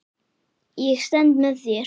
Ég stend með þér.